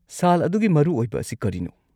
ꯁꯥꯜ ꯑꯗꯨꯒꯤ ꯃꯔꯨꯑꯣꯏꯕ ꯑꯁꯤ ꯀꯔꯤꯅꯣ?